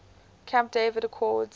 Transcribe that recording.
camp david accords